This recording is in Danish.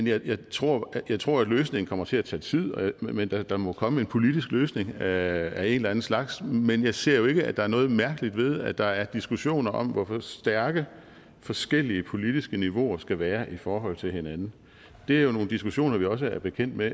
jeg tror jeg tror at løsningen kommer til at tage tid men der der må komme en politisk løsning af en eller anden slags men jeg ser jo ikke at der er noget mærkeligt ved at der er diskussioner om hvor stærke forskellige politiske niveauer skal være i forhold til hinanden det er jo nogle diskussioner vi også er bekendt med